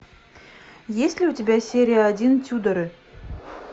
есть ли у тебя серия один тюдоры